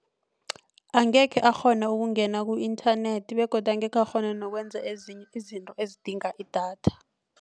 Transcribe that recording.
Angekhe akghona ukungena ku-internet begodu angekhe akghona nokwenza ezinye izinto ezidinga idatha.